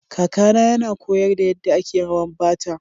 Kakana yana koyar da yadda ake rawa Bata.